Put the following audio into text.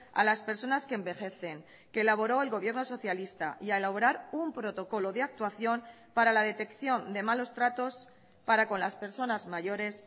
a las personas que envejecen que elaboró el gobierno socialista y a elaborar un protocolo de actuación para la detección de malos tratos para con las personas mayores